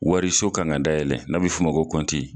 Wari so kan ka dayɛlɛ n'a bɛ f'o ma ko kɔnti.